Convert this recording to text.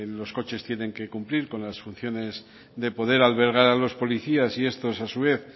los coches tienen que cumplir con las funciones de poder albergar a los policías y estos a su vez